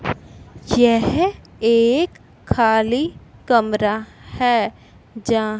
यह एक खाली कमरा है जहां--